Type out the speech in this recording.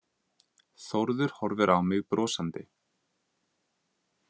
Þórður horfir á mig brosandi.